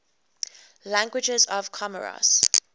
languages of comoros